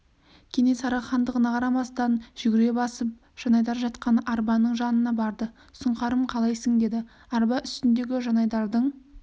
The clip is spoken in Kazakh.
кенесары хандығына қарамастан жүгіре басып жанайдар жатқан арбаның жанына барды сұңқарым қалайсың деді арба үстіндегі жанайдардың